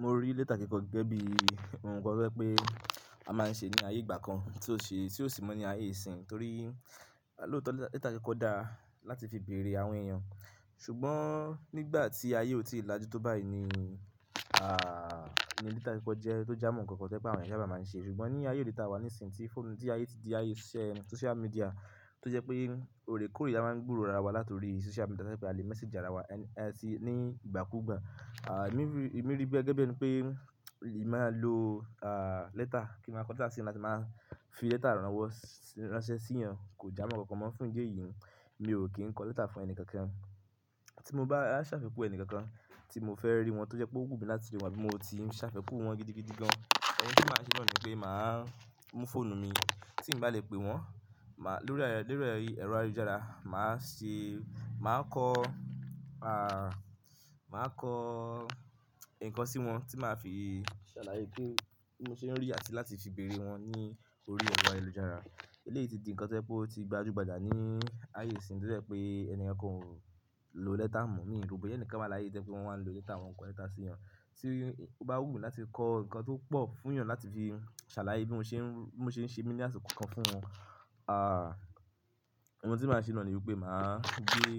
Mo rí lẹ́tà kikọ́ gẹ́gẹ́ bí awọn nkán to jẹ pé a máa ń ṣe ní ayé ìgbà kan tí ó sì--ti o si mọ ní ayé ìsìn torí lóòótọ́ lẹ́tà kẹ́kọ̀ọ́ dá láti fi bèrè àwọn èèyàn. Ṣùgbọ́n nígbà tí ayé ò tí ì lajú tó báyìí ni, à, ni lẹ́tà kikọ́ jẹ́ tó ja mọ́ ohun kankan ti o jẹ pé àwọn èèyàn sábà máa ń ṣe. Ṣùgbọ́n ní ayé òde ìta wa ní ìsìn tí fóònù tí ayé ti di ayé iṣẹ́ social media tó jẹ́ pé òrè kóòrè a máa ń gbúrò ara wa láti orí social media tẹ́lẹ̀ pé a lè message ara wa ẹni ẹni tí ní ìgbà kú ìgbà. À, èmi rí--emi ri bí i gẹ́gẹ́ bí ẹni pé èmi máa lo, à, lẹ́tà kí n máa kọ lẹ́tà sí ẹni láti máa fi lẹ́tà rán wọn wọ́, ránṣẹ́ síyan kò ja mọ́ nkankan mọ́ fún ìdí èyí mi ò kí ń kọ lẹ́tà fún ẹni kankan. Tí mo bá ṣàfikún ẹni kankan tí mo fẹ́ rí wọn tó jẹ́ pé ó wù mí láti lò wá bí mo ti ń ṣàfikún wọn gidigidi gan, ohun tí màá ṣe nónìí pé màá mú fóònù mi tí n bá lè pè wọ́n, màá lórí ẹrọ ayélujára, màá ṣe, màá kọ, à, màá kọ nǹkan sí wọn tí màá fi ṣàlàyé pé bí mo ṣe ń rí àti láti fi bèrè wọn ní orí ẹrọ̀ ayélujára. Eléyìí ti di nǹkan to jẹ̀ pé ó ti gba júgbàjà ní ayé ìsìn tó jẹ́ pé enikankan ò lè lo lẹ́tà mọ́ mí ro boya ẹni kan wáa láyé to jẹ pé wọ́n máa ń lo lẹ́tà, wọ́n kọ lẹ́tà sí wọn. Tí ó bá wù mí láti kọ nǹkan tó pọ̀ fún èèyàn láti fi ṣàlàyé bí mo ṣe ń, bí mo ṣe ń ṣe mi ní àṣẹ kan fún wọn, à, ohun tí màá ṣe náà ni wípé màá gbé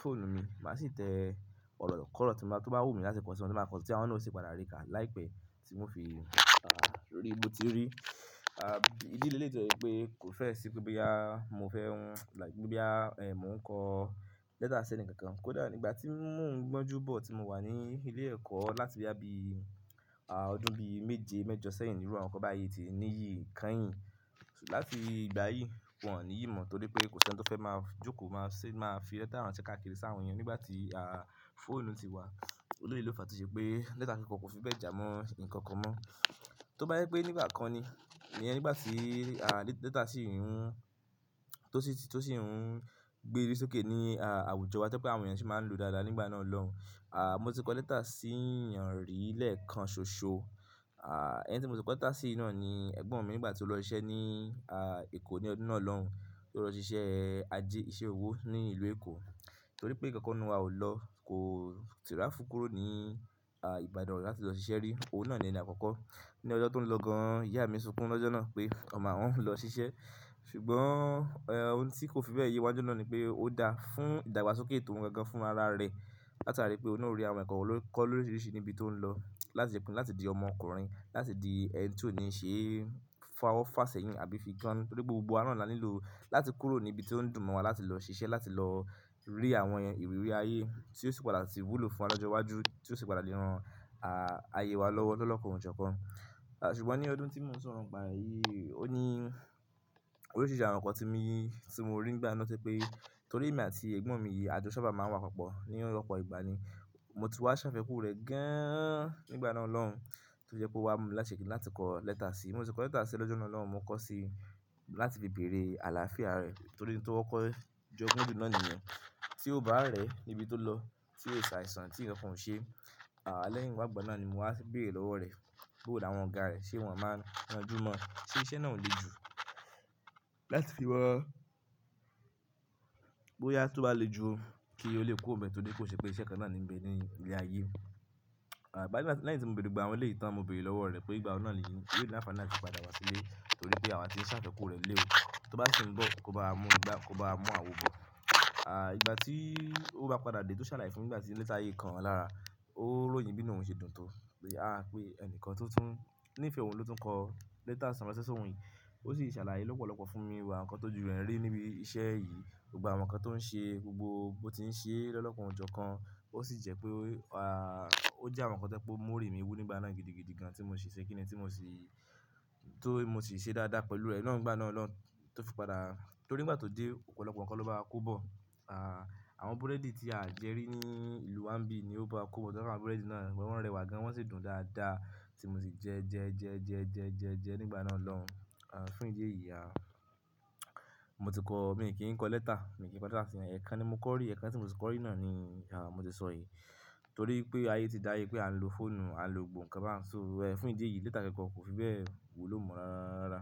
fóònù mi, màá sì tẹ ọ̀rọ̀ kọ̀ọ̀rọ̀ tí màá, tó bá wù mí láti kọ sí wọn, tí màá kọ sí wọn tó sì padà rí ká láìpẹ́ tí mo fi, à, rí bí ó ti rí. À, ìdí leléyìí to jẹ́ pé kò fẹ́ sì pé boya mo fẹ́ hun like boya, è, mò ń kọ lẹ́tà sí ẹni kankan. Kódà nígbà tí mò ń gbọ́n júbọ̀ tí mo wà ní ilé ẹ̀kọ́ láti boya bí ọdún bí méje mẹ́jọ sẹ́yìn níru awọ́n nkan bá yi ti níyìí kányìn. Látì igbà yìí, wọ́n ò ní yí mọ̀ torí pé kò sí ẹni tí ó fẹ́ máa jókòó máa ṣe, máa fi lẹ́tà ránṣẹ́ káàkiri sáwọn èèyàn nígbà tí, à, fóònù ti wá. Eleyii lo fa tọ ṣe pé lẹ́tà kikọ̀ọ́ kò fi bẹ́ẹ̀ ja mọ́ nǹkan kan mọ́. Tó bá jẹ́ pé nígbà kan ni, iyẹ̀n nígbà tí, à, lẹ́tà sì ń hun, tó sì ń gbé ori sókè ní, à, àwùjọ wa to jẹ pé àwọn èèyàn sì máa ń lo dáadáa nígbà náà lọ́hun. À, mo ti kọ lẹ́tà sí èèyàn rí lẹ́ẹ̀kan ṣoṣo. À, ẹni tí mo ti kọ lẹ́tà sí náà ni ẹ̀gbọ́n mi nígbà tí ó lọ ṣiṣẹ́ ní, à, Èkó ní ọdún náà lọ́hun. Ó lọ ṣiṣẹ́ ajé, iṣẹ́ òwò ní ìlú Èkó torí pé nǹkan kan nu wa ó lọ, kò tìra fu kúrò ní, à, Ìbàdàn láti lọ ṣiṣẹ́ rí. Òun náà ni ẹnì àkọ́kọ́. Ní ọjọ́ tó ń lọ gan, ìyá mi sunkún lọ́jọ́ náà pé ọmọ awọn ń lọ ṣiṣẹ́. Ṣùgbọ́n, ẹ, ohun tí kò fi bẹ́ẹ̀ yé wá nijọ náà ni pé ó dáa fún ìdàgbàsókè ètò ohun kan gan fún ara rẹ̀. Láti àrí pé òun ò rí àwọn ẹ̀kọ́ kankan lórí oríṣiríṣi níbi tó ń lọ láti ṣe kiní, láti di ọmọkùnrin, láti di ẹni tí ò ní ṣe fáwọ́ fá sẹ̀yìn àbí fi jọ́n torí gbogbo àwọn náà ni a nílò láti kúrò ní ibi tí ó dùn mọ́ wa láti lọ ṣiṣẹ́, láti lọ rí àwọn ìrírí ayé tí ó sì padà sì wúlò fún wa lọ́jọ́ iwájú tí ó sì padà lè ran, à, ayé wa lọ́wọ́ lọ́kàn ọ̀jọ̀ọ̀kan. À, ṣùgbọ́n ní ọdún tí mò ń sọ̀rọ̀ ń pa yìí, ó ní oríṣìíríṣìí àwọn nǹkan tí mi, tí mo rí nígbà náà to jẹ pé torí èmi àti ẹ̀gbọ́n mi yìí àjò sábà máa ń wá papọ̀ ní ọ̀pọ̀ ìgbà ni. Mo tún wá ṣàfikún rẹ̀ gáán-án nígbà náà lọ́hun tó jẹ́ pé ó wá mú mi láti ṣe kì í láti kọ lẹ́tà sí i. Mo ti kọ lẹ́tà sí i lọ́jọ́ náà lọ́hun, mo kọ sí i láti fi bèrè àlàáfíà rẹ̀ torí ohun tí kọ́ kọ́ jọ gùn ju na nìyẹn Tí ó bá rẹ̀ níbi tó lọ, tí ó ṣàìsàn tí ǹkan kan ò ṣe, à, lẹ́yìn wá gbọ̀nà ni mo wá bèrè lọ́wọ́ rẹ̀ bóò láwọn ọ̀gá rẹ̀ ṣe wọ́n máa ń ranjú mọ́, ṣe iṣẹ́ náà ò le ju láti fi wọ́n. Bóyá tó bá le ju kí ó lè ku ọ̀bẹ torí kò ṣe pé iṣẹ́ kan náà ni ń gbé ní ilẹ̀ ayé. À, báyìí, lẹ́yìn tí mo bèrè gbogbo àwọn eleyii tán, mo bèrè lọ́wọ́ rẹ̀ pé ìgbà wọ̀ nà nìí yóò l'anfaani ati padà wá sílé torí pé àwa ti ń ṣàfikún rẹ̀ lé òó. Tó bá sì ń bọ̀, kó bá mú ìgbá, kó bá mú àwọn òbò. À, ìgbà tí ó bá padà dé tó ṣàlàyé fún mi ìgbà tí lẹ́tà yìí kan oun alára, ó ròyìn bí ìnu ohun ṣe dùn tó. A pé ẹnìkan tó tún, ní ìfẹ́ òun ló tún kọ lẹ́tà ranṣẹ sí ọ̀hùn yìí. Ó sì ṣàlàyé lọ́pọ̀lọ́pọ̀ fún mi àwọn nǹkan tó ju rẹ̀ rí níbi iṣẹ́ yìí. Gbogbo àwọn nǹkan tó ń ṣe gbogbo bó ti ń ṣe lọ lọ́kàn ọ̀jọ̀ọ̀kan. Ó sì jẹ́ pé ó, à, ó jẹ́ àwọn nǹkan tojẹ̀ pé mó rí mi wú nígbà náà gidigidi gan tí mo ṣe kì í ni tí mo sì, tó mo sì ṣe dáadáa pẹ̀lú rẹ̀ lọ́hùn gbà náà lọ́hun tó fi padà. Torí nígbà tó dé ọ̀pọ̀lọpọ̀ nǹkan ló bá wa kobọ̀. À, àwọn búrẹ́dì tí a jẹ́ rí ní ìlú wá ń bí ni ó bá kúbọ̀. Tí wọ́n bá búrẹ́dì náà, wọ́n rẹwà gan wọ́n sì dùn dáadáa tí mo sì jẹ jẹ jẹ jẹ jẹ jẹ jẹ nígbà náà lọ́hun. À, fún ìdí èyí, à, mo ti kọ, mi kì í kọ lẹ́tà, mi kì í kọ lẹ́tà sí ẹni. Ẹ̀kan ni mo kọ rí, ẹ̀kan tí mo ti kọ rí náà ni, à, mo ti sọ èyí. Torí pé ayé ti dáyé pé à ń lo fóònù, à ń lo òǹkà bá uń so. Ẹ, fún ìdí èyí lẹ́tà kikọ̀ọ́ kò fi bẹ́ẹ̀ wulo mọ rararara.